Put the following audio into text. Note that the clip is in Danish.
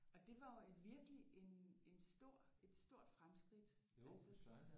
Og det var jo et virkelig en en stor et stort fremskridt altså